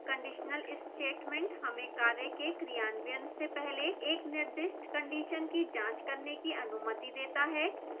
conditional statement हमें कार्य के क्रियान्वयन से पहले एक निर्दिष्ट condition की जांच करने की अनुमति देता है